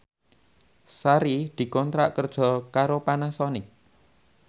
Sari dikontrak kerja karo Panasonic